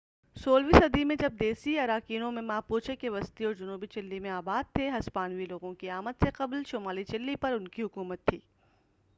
16 ویں صدی میں جب دیسی اراوکینیوں ماپوچے کے وسطی اور جنوبی چلی میں آباد تھے ہسپانوی لوگوں کی آمد سے قبل، شمالی چلی پر ان کی حکومت تھی۔